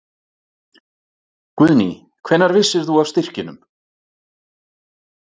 Guðný: Hvenær vissir þú af styrkjunum?